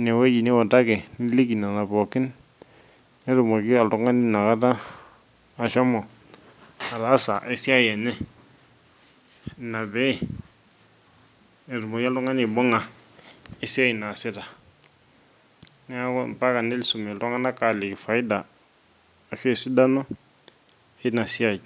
inewueji niutaki niliki nena pookin , netumoki oltungani inakata ashomo ataasa aesiai enye , inapee etumoki oltungani aibunga esiai naasita , niaku impaka nisum iltunganak aliki faida ashu esidano inasiai.